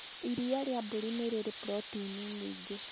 Iria rĩa mbũri nĩ rĩrĩ proteĩni nyingĩ